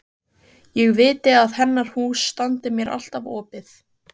Ég viti að hennar hús standi mér alltaf opið.